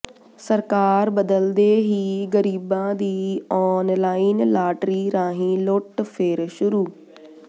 ਸਰਕਾਰ ਬਦਲਦੇ ਹੀ ਗਰੀਬਾਂ ਦੀ ਆਨਲਾਈਨ ਲਾਟਰੀ ਰਾਹੀਂ ਲੁੱਟ ਫਿਰ ਸ਼ੁਰੂ